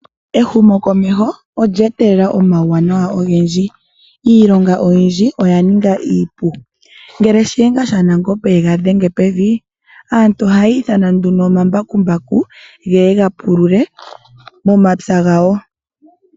Ehumo komeho olya etelela omawuwanawa ogendji. Iilonga oyindji oya ninga iipu. Ngele shiyenga shanangombe ye ga dhenge pevi, aantu ohaya ithana omambakumbaku ge ye gapulule momapya gawo.